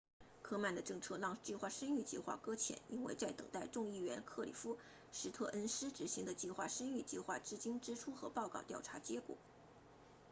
科曼的政策让计划生育计划搁浅因为在等待众议员克里夫斯特恩斯 cliff stearns 执行的计划生育计划资金支出和报告调查结果